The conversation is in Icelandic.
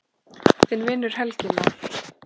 Þinn vinur, Helgi Már.